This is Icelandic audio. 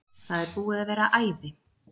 Það er búið að vera æði!